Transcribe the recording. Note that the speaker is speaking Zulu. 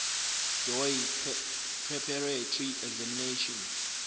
doe preparatory examination